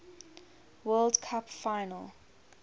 world cup final